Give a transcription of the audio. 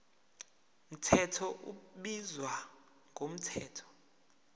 mthetho ubizwa ngomthetho